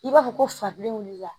I b'a fɔ ko faden wuli la